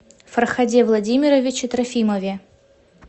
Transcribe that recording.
фарходе владимировиче трофимове